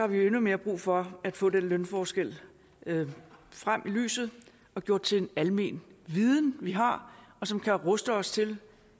vi jo endnu mere brug for at få den lønforskel frem i lyset og gjort til en almen viden vi har og som kan ruste os til